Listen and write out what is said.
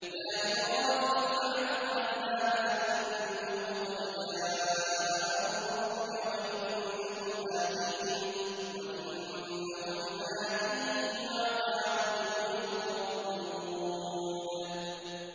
يَا إِبْرَاهِيمُ أَعْرِضْ عَنْ هَٰذَا ۖ إِنَّهُ قَدْ جَاءَ أَمْرُ رَبِّكَ ۖ وَإِنَّهُمْ آتِيهِمْ عَذَابٌ غَيْرُ مَرْدُودٍ